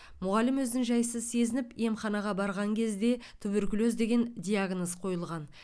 мұғалім өзін жайсыз сезініп емханаға барған кезде туберкулез деген диагноз қойылған